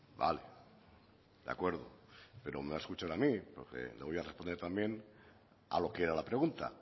vale de acuerdo pero me va a escuchar a mí porque le voy a responder también a lo que era la pregunta